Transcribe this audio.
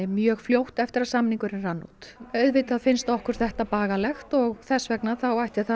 mjög fljótt eftir að samningurinn rann út auðvitað finnst okkur þetta bagalegt og þess vegna ætti það